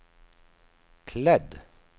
klädd